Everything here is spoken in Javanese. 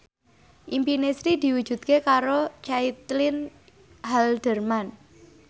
impine Sri diwujudke karo Caitlin Halderman